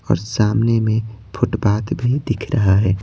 और सामने में फुटपात भी दिख रहा है।